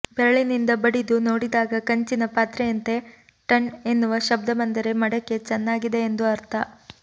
ಬೆರಳಿನಿಂದ ಬಡಿದು ನೋಡಿದಾಗ ಕಂಚಿನ ಪಾತ್ರೆಯಂತೆ ಟಣ್ ಎನ್ನುವ ಶಬ್ದ ಬಂದರೆ ಮಡಕೆ ಚೆನ್ನಾಗಿದೆ ಎಂದು ಅರ್ಥ